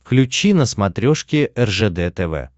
включи на смотрешке ржд тв